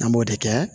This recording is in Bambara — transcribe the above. An b'o de kɛ